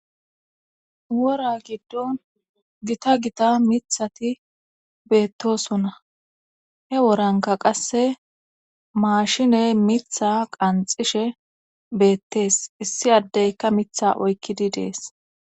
wora giddon gita gita mithati beettosona he woranka qasse maashiney mitha qanxishe beettes issi addeyka mitha oykkidi dees